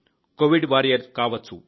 Covid warrior కావచ్చు